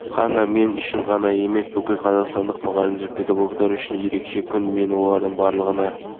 оқу жылына тыңғылықты дайындалуына жағдай жасады еңбек ұжымдары қазақстан алюминийі филиалы краснооктябрь боксит кен басқармасында